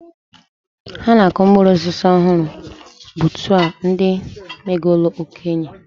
Ha na-akụ mkpụrụ osisi ọhụrụ gbutuo ndị megolu okenye.